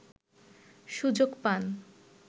সুযোগ পান